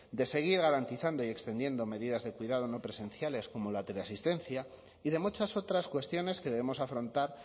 de seguir garantizando y extendiendo medidas de cuidado no presenciales como la teleasistencia y de muchas otras cuestiones que debemos afrontar